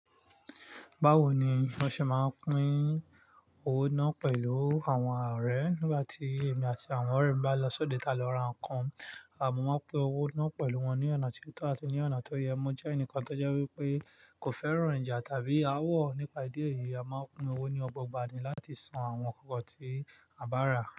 Báwo ni won ṣe máa ń pín owó náà pẹ̀lú àwọn ọ̀rẹ́ nígbà tí èmi àti àwọn ọ̀rẹ́ mi bá lọ sódò eni tá n lọ ra nǹkan. À mọ́ máa ń pín owó náà pẹ̀lú wọn ní ọ̀nà tí ó tọ́ àti ní ọ̀nà tó yẹ. Mo jẹ́ ẹnìkan tó jẹ́ wípé kò fẹ́ràn ìjà tàbí áwọ̀. Nípa ìdí èyí, a máa pín owó ní ọgbọ̀n gbá ni láti san àwọn nnkan tí a bá rà.